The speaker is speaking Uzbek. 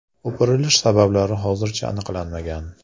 O‘pirilish sabablari hozircha aniqlanmagan.